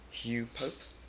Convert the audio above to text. hugh pope